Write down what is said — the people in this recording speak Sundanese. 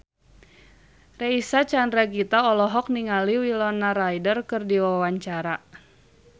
Reysa Chandragitta olohok ningali Winona Ryder keur diwawancara